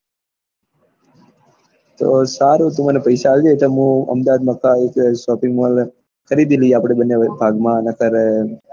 તો સારું તું મને પૈસા આલજે તે મુ સારું તો અમદાવાદ માં shopping mall ખરીદી લઈએ અપડે બન્ને ભાગ માં